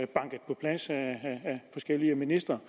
banket på plads af forskellige ministre